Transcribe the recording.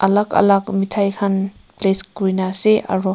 alak alak methai khan place kurena ase aro.